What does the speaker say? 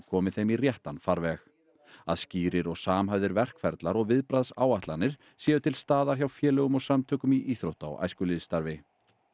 komið þeim í réttan farveg að skýrir og samhæfðir verkferlar og viðbragðsáætlanir séu til staðar hjá félögum og samtökum í íþrótta og æskulýðsstarfi